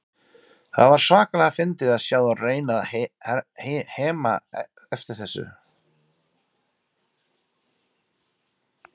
Það var svakalega fyndið að sjá þá reyna að hema eftir þessu.